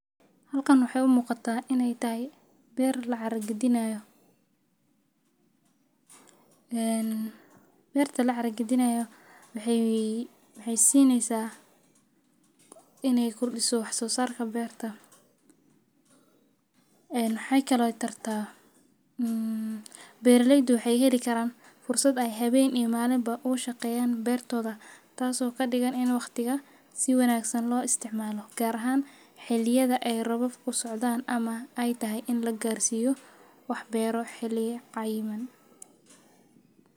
Halkan waxeey umuqataa inaay tahay beer lacara gadini haayo waxeey sineysa inaay kordiso wax soo saarka beerta waxeey kadigta beeraleyda inaay si wanagsan uga shaqeesta beerta.